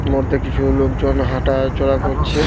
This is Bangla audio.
মধ্যে কিছু লোকজন হাঁটা-আ চলা করছে।